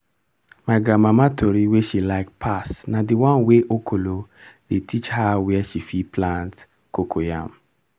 my grandmama tori wey she like pass na d one wey ekolo dey teach her where she fit plant cocoyam.